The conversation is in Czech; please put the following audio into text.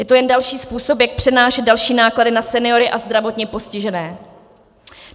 Je to jen další způsob, jak přenášet další náklady na seniory a zdravotně postižené.